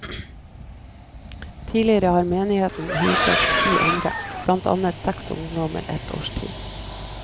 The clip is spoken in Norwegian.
Tidligere har menigheten huset ti andre, blant andre seks ungdommer ett års tid.